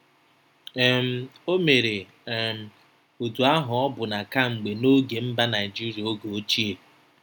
um O mere um otú ahụ ọbụna kemgbe n’oge mba Naijiria oge ochie.